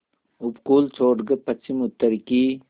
उपकूल छोड़कर पश्चिमउत्तर की